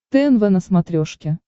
тнв на смотрешке